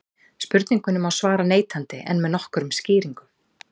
spurningunni má svara neitandi en með nokkrum skýringum